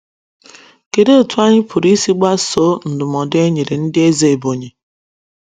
Kedụ etú anyị pụrụ isi gbasoo ndụmọdụ e nyere ndị eze Ebonyi?